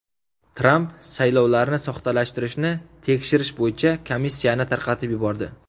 Tramp saylovlarni soxtalashtirishni tekshirish bo‘yicha komissiyani tarqatib yubordi.